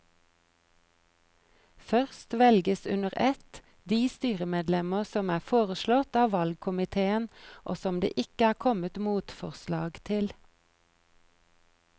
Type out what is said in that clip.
Først velges under ett de styremedlemmer som er foreslått av valgkomiteen og som det ikke er kommet motforslag til.